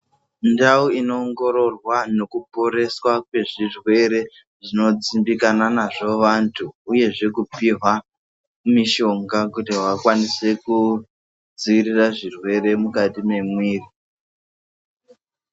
Ndau inowongororwa nekuporeswa zvirwere zvinodzimbikana nazvo vantu uyezve kupihwa mishonga juti vakwanise kudzivirira zvirwere mukati mwemiri.